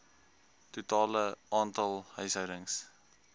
totale aantal huishoudings